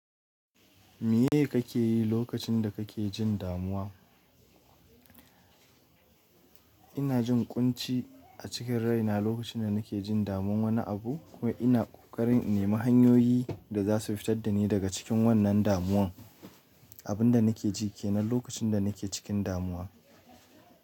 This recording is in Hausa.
Meye kake yi lokacin da kake jin damuwa? Ina jin ƙunci a cikin rai na lokacin da nake jin damuwar wani abu ko ina kokarin nima hanyoyi da za su fitar da ni daga cikin wannan damuwar. Abin da nake ji ke nan lokacin da nake cikin damuwa.